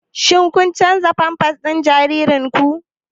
Shin kun canza pampers na jaririnku?